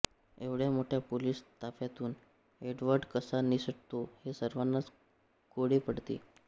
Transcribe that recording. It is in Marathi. एवढ्या मोठ्या पोलिस ताफ्यातून एड्वर्ड कसा निसटतो हे सर्वांनाच कोडे पडते